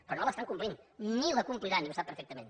però no l’estan complint ni la compliran i ho sap perfectament